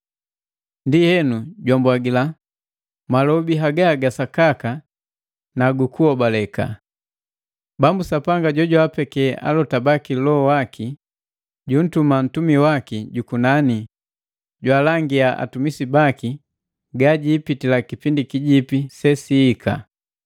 Ndienu, jwambwagila, “Malobi haga ga sakaka na gu kuhobaleka. Bambu Sapanga jojwaapeke alota baki Loho waki, junntuma ntumi waki jukunani jwaalangia atumisi baki gagiipitila kipindi kijipi sesiika.”